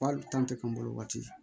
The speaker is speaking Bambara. Hali tan tɛ ka n bolo waati